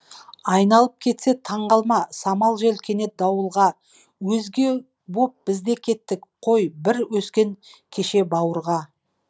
айналып кетсе таңғалма самал жел кенет дауылға өзге боп бізде кеттік қой бірге өскен кеше бауырға